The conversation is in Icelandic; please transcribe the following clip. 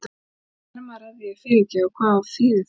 Hvernig fer maður að því að fyrirgefa og hvað þýðir það?